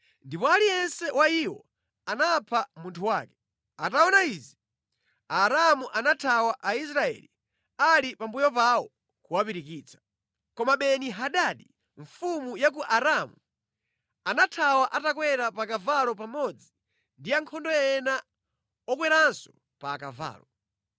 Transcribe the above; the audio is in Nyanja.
Ndipo aliyense wa iwo anapha munthu wake. Ataona izi, Aaramu anathawa Aisraeli ali pambuyo pawo kuwapirikitsa. Koma Beni-Hadadi mfumu ya ku Aaramu anathawa atakwera pa kavalo pamodzi ndi ankhondo ena okweranso pa akavalo.